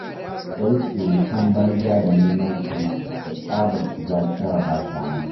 Sai surutan banza da neman rigima da tsabar shiga shara-ba-shanu.